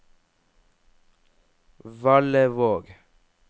Valevåg